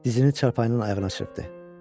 Dizini çarpayından ayağına çırpdı.